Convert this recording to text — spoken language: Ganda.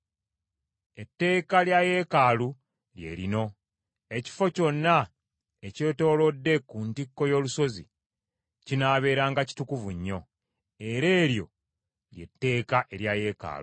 “Etteeka lya yeekaalu lye lino: Ekifo kyonna ekyetoolodde ku ntikko ey’olusozi kinaabeeranga kitukuvu nnyo. Era eryo lye tteeka erya yeekaalu.